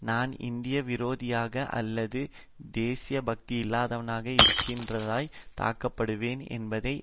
நான் இந்திய விரோதியாக அல்லது தேசிபக்தி இல்லாதவனாக இருக்கின்றதாய் தாக்கப்படுவேன் என்பதை